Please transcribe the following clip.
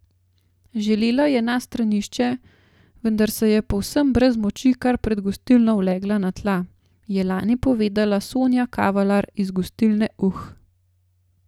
Želela je na stranišče, vendar se je povsem brez moči kar pred gostilno ulegla na tla, je lani povedala Sonja Kavalar iz gostilne Uh.